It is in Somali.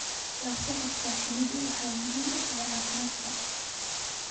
La socodka shinnidu waxay muhiim u tahay caafimaadka.